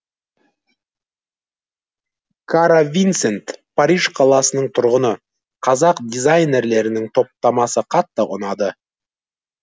кара винсент париж қаласының тұрғыны қазақ дизайнерлерінің топтамасы қатты ұнады